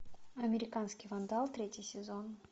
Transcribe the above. американский вандал третий сезон